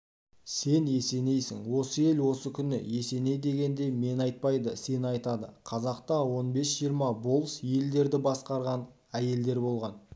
сен есенейсің осы ел осы күні есеней дегенде мені айтпайды сені айтады қазақта он бес-жиырма болыс елдерді басқарған әйелдер болған